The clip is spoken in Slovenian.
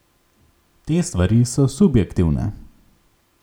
Te stvari so subjektivne.